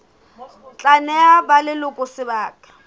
tla neha ba leloko sebaka